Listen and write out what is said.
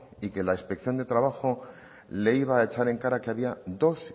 y que la inspección de trabajo le iba a echar en cara que había dos